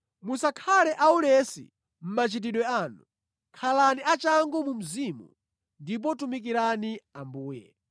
Musakhale aulesi mʼmachitidwe anu. Khalani achangu mu mzimu ndipo tumikirani Ambuye.